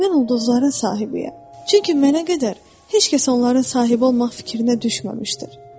Mən ulduzların sahibiyəm, çünki mənə qədər heç kəs onların sahibi olmaq fikrinə düşməmişdir.